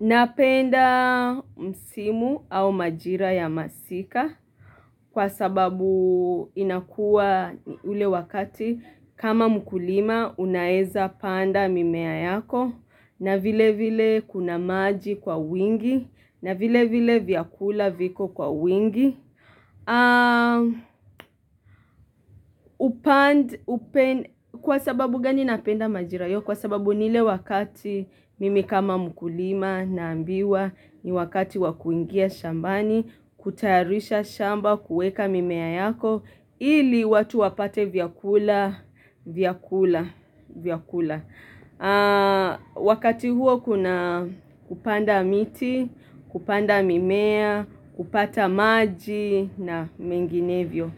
Napenda msimu au majira ya masika kwa sababu inakua ule wakati kama mkulima unaweza panda mimea yako na vilevile kuna maji kwa wingi na vilevile vyakula viko kwa wingi Kwa sababu gani napenda majira hiyo, Kwa sababu ni ile wakati mimi kama mkulima naambiwa ni wakati wa kuingia shambani, kutayarisha shamba, kueka mimea yako ili watu wapate vyakula vya kula Wakati huo kuna kupanda miti, kupanda mimea kupata maji na menginevyo